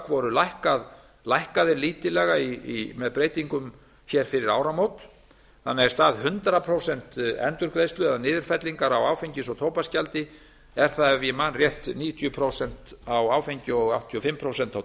voru lækkaðir lítillega með breytingum fyrir áramót þannig að í stað hundrað prósent endurgreiðslu eða niðurfellingar á áfengis og tóbaksgjaldi er það ef ég man rétt níutíu prósent á áfengi og áttatíu og fimm prósent á